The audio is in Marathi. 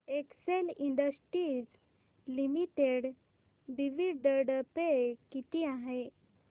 Excel industries limited dividend pay किती आहे